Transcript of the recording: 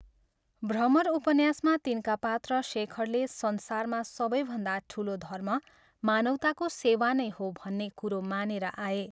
भ्रमर उपन्यासमा तिनका पात्र शेखरले संसारमा सबैभन्दा ठुलो धर्म मानवताको सेवा नै हो भन्ने कुरो मानेर आए।